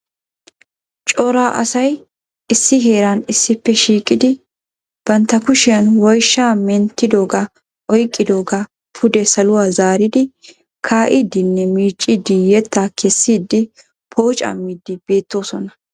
Coray asay issi heeran issippe shiiqidi bantya kushiyaan woyshsha menttidooga oyqqidooga pude saluwaa zaaridi kaa'idenne miiccidi yetta kessidi pooccamidi beettoosona.